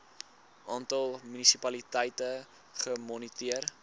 aantal munisipaliteite gemoniteer